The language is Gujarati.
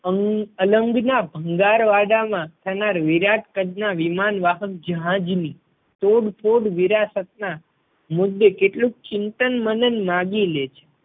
અંગ અલંગ ના ભંગાર વાડા માં થનાર વિરાટ કદ ના વિમાન વાહક જહાજ ની તોડફોડ વિરાસત ના મુદ્દે કેટલુંક ચિંતન મનન માંગી લે છે